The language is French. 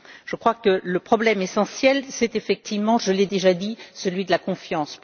Je crois que le problème essentiel c'est effectivement je l'ai déjà dit celui de la confiance.